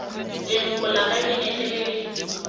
leloko la kabinete le le